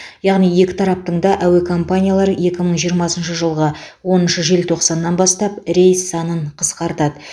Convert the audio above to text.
яғни екі тараптың да әуе компаниялары екі мың жиырмасыншы жылғы оныншы желтоқсаннан бастап рейс санын қысқартады